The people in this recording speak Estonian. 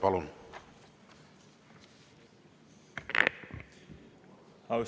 Palun!